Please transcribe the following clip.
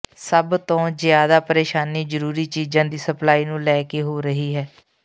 ਸਭ ਤੋਂ ਜ਼ਿਆਦਾ ਪ੍ਰੇਸ਼ਾਨੀ ਜ਼ਰੂਰੀ ਚੀਜ਼ਾਂ ਦੀ ਸਪਲਾਈ ਨੂੰ ਲੈ ਕੇ ਹੋ ਰਹੀ ਹੈ